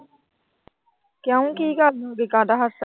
ਕਿਉਂ ਕੀ ਕਰਦੀ, ਕਾਦਾ ਹਾਸਾ।